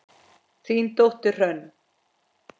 Þín dóttir, Hrönn.